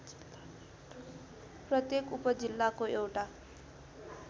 प्रत्येक उपजिल्लाको एउटा